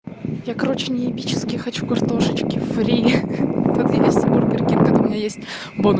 я короче неебически хочу картошечки-фри тут есть бургеркинг у меня есть бонус